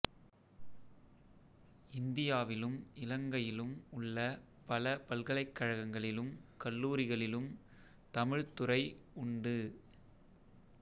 இந்தியாவிலும் இலங்கையிலும் உள்ள பல பல்கலைக்கழகங்களிலும் கல்லூரிகளிலும்தமிழ்த் துறை உண்டு